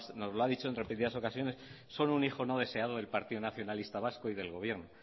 nos lo ha dicho en repetidas ocasiones son un hijo no deseado del partido nacionalista vasco y del gobierno